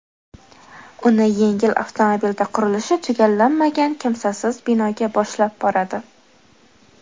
Uni yengil avtomobilda qurilishi tugallanmagan kimsasiz binoga boshlab boradi.